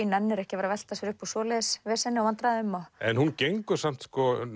nennir ekki að velta sér upp úr svoleiðis veseni og vandræðum hún gengur samt